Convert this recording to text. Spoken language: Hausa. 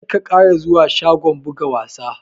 Kar ka ƙara zuwa shagon buga wasa!